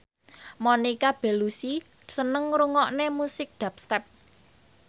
Monica Belluci seneng ngrungokne musik dubstep